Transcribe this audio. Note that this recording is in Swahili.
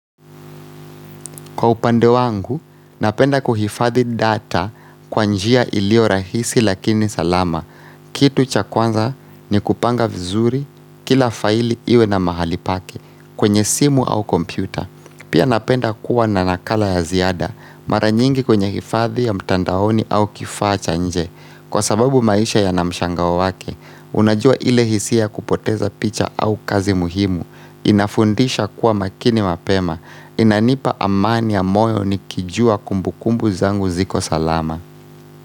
Kwa upande wangu, napenda kuhifadhi data kwa njia ilio rahisi lakini salama. Kitu cha kwanza ni kupanga vizuri kila faili iwe na mahali pake kwenye simu au kompyuta. Pia napenda kuwa na nakala ya ziada mara nyingi kwenye hifadhi ya mtandaoni au kifaa cha nje. Kwa sababu maisha yana mshangao wake, unajua ile hisia kupoteza picha au kazi muhimu, inafundisha kuwa makini mapema, Inanipa amani ya moyo nikijua kumbukumbu zangu ziko salama.